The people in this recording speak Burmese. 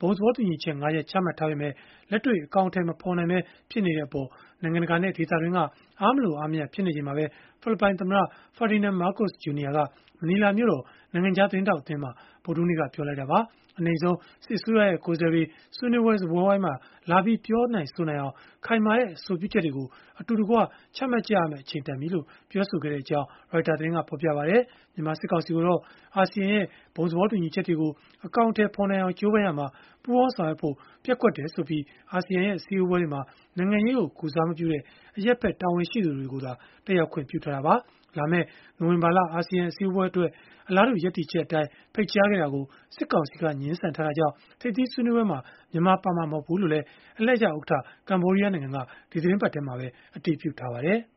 ဘုံသဘောတူညီချက် ၅ ရပ် ချမှတ်ထားပေမဲ့ လက်တွေ့အကောင်အထည် မဖော်နိုင်ပဲ ဖြစ်နေတဲ့အပေါ် နိုင်ငံတကာနဲ့ ဒေသတွင်းက အားမလိုမရ ဖြစ်နေချိန်မှာပဲ ဖိလစ်ပိုင်သမ္မတ Ferdinand Marcos Jr က မနီလာမြို့တော် နိုင်ငံခြားသတင်းထောက်အသင်းမှာ ဗုဒ္ဓဟူးနေ့က ပြောလိုက်တာပါ။ အနိမ့်ဆုံးအနေနဲ့ စစ်အစိုးရရဲ့ ကိုယ်စားလှယ်တွေ ဆွေးနွေးပွဲ စားပွဲဝိုင်းမှာလာပြီး ပြောနိုင်ဆိုနိုင်အောင် ခိုင်မာတဲ့ အဆိုပြုချက်တွေကို အတူတကွ ချမှတ်ရမယ့် အချိန်တန်ပြီလို့ ပြောခဲ့ကြောင်းလည်း Reuters သတင်းကဖော်ပြပါတယ်။ မြန်မာစစ်ကောင်စီကိုတော့ အာဆီယံရဲ့ ဘုံသဘောတူညီချက်တွေကို အကောင်အထည်ဖော်နိုင်အောင် ကြိုးပမ်းရာမှာ ပူးပေါင်းဆောင်ရွက်ဖို့ ပျက်ကွက်တယ်ဆိုပြီး အာဆီယံရဲ့ အစည်းအဝေးတွေမှာ နိုင်ငံရေးကို ကိုယ်စားမပြုတဲ့ အရပ်ဖက်တာဝန်ရှိသူတွေကိုသာ တက်ရောက်ခွင့် ပြုထားတာပါ။ လာမယ့် နိုဝင်ဘာလ အာဆီယံ အစည်းအဝေးပွဲတွေအတွက် အလားတူ ရပ်တည်ချက်အတိုင်း ဖိတ်ကြားထားတာကို စစ်ကောင်စီက ငြင်းဆန်ထားတာကြောင့် ထိပ်သီးဆွေးနွေးပွဲမှာ မြန်မာပါဝင်မှာ မဟုတ်ဘူးလို့လည်း အလှည့်ကျဥက္ကဋ္ဌ ကမ္ဘောဒီးယား နိုင်ငံက ဒီသီတင်းပတ်ထဲမှာပဲ အတည်ပြုထားပါတယ်။